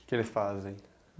O que eles fazem?